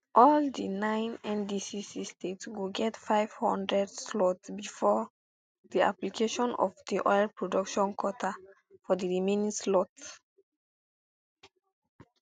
all di nine nddc states go get five hundred slots bifor di application of di oil production quota for di remaining slots